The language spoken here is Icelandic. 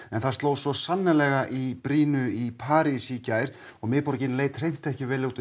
en það sló svo sannarlega í brýnu í París í gær og miðborgin leit ekki vel út